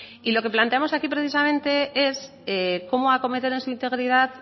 y lo que planteamos aquí precisamente es cómo acometer en su integridad